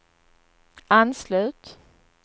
anslut